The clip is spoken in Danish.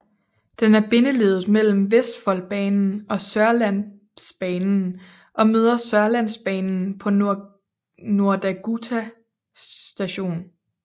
Den er bindeleddet mellem Vestfoldbanen og Sørlandsbanen og møder Sørlandsbanen på Nordagutu station